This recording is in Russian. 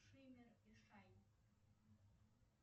шиммер и шайн